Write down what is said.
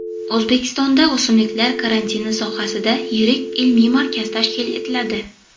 O‘zbekistonda o‘simliklar karantini sohasida yirik ilmiy markaz tashkil etiladi.